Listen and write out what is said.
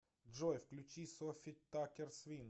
джой включи софи таккер свинг